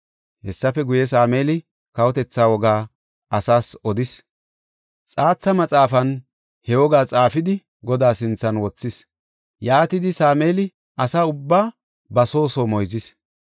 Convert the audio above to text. Hessafe guye, Sameeli kawotetha wogaa asaas odis; xaatha maxaafan he wogaa xaafidi Godaa sinthan wothis. Yaatidi Sameeli asa ubbaa ba soo soo moyzis.